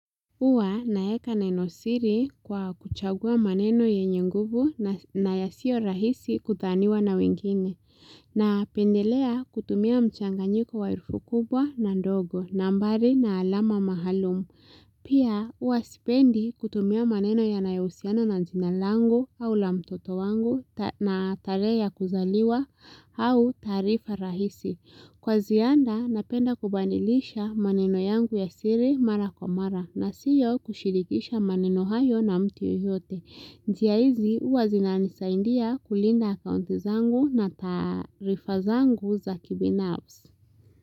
Huwa naeka neno siri kwa kuchagua maneno yenye nguvu na yasio rahisi kutaniwa na wengine. Na pendelea kutumia mchanganyiko wa herufi kubwa na ndogo nambari na alama mahalumu. Pia uwa sipendi kutumia maneno yanayo husiana na jina langu au la mtoto wangu na tarehe ya kuzaliwa au tarifa rahisi. Kwa zianda napenda kubanilisha maneno yangu ya siri mara kwa mara na siyo kushirikisha maneno hayo na mtu yoyote. Njia hizi uwa zinanisaidia kulinda akounti zangu na tarifa zangu za kibinafsi.